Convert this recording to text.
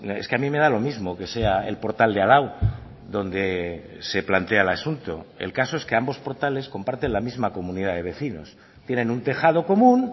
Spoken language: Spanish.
es que a mí me da lo mismo que sea el portal de al lado donde se plantea el asunto el caso es que ambos portales comparten la misma comunidad de vecinos tienen un tejado común